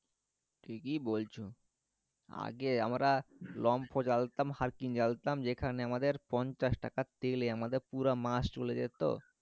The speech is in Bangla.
ঠিকই বলছো আগে আমরা লম্ফো জ্বালাতাম হারিকেন জ্বালাতাম যেখানে আমাদের পঞ্চাশ টাকার তেলে আমাদের পুরা মাস চলে যেত